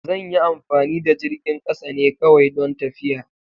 Zan yi amfani da jirgin kasa ne kawai don tafiya.